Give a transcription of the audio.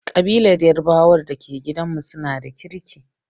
Ƙabilar yarbawan da ke gidanmu su na da kirki.